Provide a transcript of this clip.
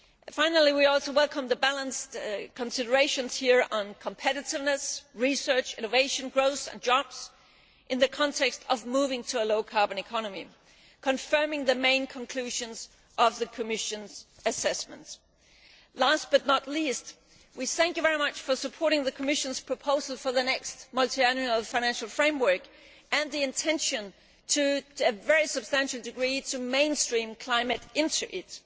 Finally, we also welcome the balanced considerations on competitiveness, research, innovation, growth and jobs in the context of moving to a low carbon economy, confirming the main conclusions of the Commission assessments. Last but not least, we thank you very much for supporting the Commission's proposal for the next multiannual financial framework and the intention to a very substantial degree to mainstream climate action in